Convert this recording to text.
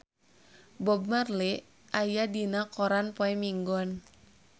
Bob Marley aya dina koran poe Minggon